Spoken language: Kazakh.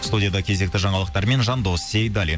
студияда кезекті жаңалықтармен жандос сейдаллин